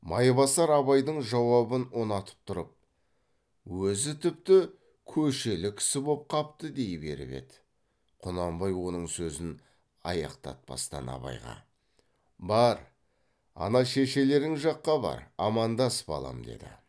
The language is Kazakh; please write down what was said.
майбасар абайдың жауабын ұнатып тұрып өзі тіпті көшелі кісі боп қапты дей беріп еді құнанбай оның сөзін аяқтатпастан абайға бар ана шешелерің жаққа бар амандас балам деді